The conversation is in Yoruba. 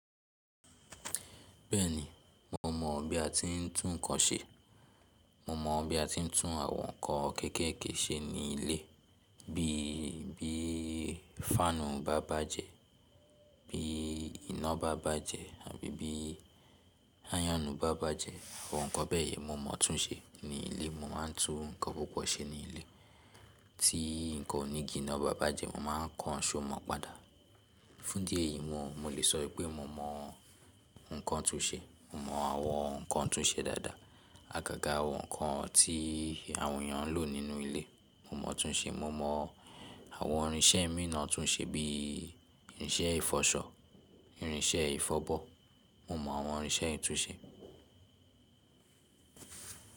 Bẹ́ẹ̀ni, mo mọ̀ bí a ti ń tún ǹkan ṣe. Mo mọ̀ bí a ti ń tún àwọn nǹkan kéékèèké ṣe ní ilé, bí i bí fáànù bá bàjẹ́, bí iná bá bàjẹ́ àbí bí áyọ̀nù bá bàjẹ́, àwọn nǹkan bẹ́ẹ̀ yẹn mo mọ̀ tún ṣe ní ilé. Mo máa ń tún nǹkan púpọ̀ ṣe ní ilé. Tí nǹkan onígi ná bá bàjẹ́, mo má a ń kan iṣò mọ̀ padà. Fún dí ẹ̀yìí mo, mo lè sọ wipé mo mọ̀ nǹkan tún ṣe. Mo mọ̀ àwọn nǹkan tún ṣe dáadáa, àgàgà àwọn nǹkan tí àwọn èèyàn ń lò nínú ilé mo mọ̀ tún ṣe. Mo mọ̀ àwọn irinṣẹ́ mìí naa tún ṣe bí i irinṣẹ́ ìfọṣọ, irinṣẹ́ ìfọbọ́. Mo mọ̀ àwọn irinṣẹ́ ì tún ṣe.